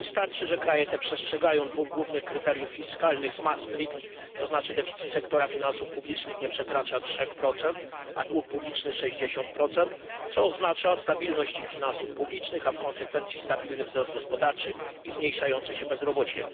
Wystarczy, że kraje te przestrzegają dwóch głównych kryteriów fiskalnych z Maastricht to znaczy deficyt sektora finansów publicznych nieprzekraczający 3, a dług publiczny 60 co oznacza stabilność ich finansów publicznych, a w konsekwencji stabilny wzrost gospodarczy i zmniejszające się bezrobocie.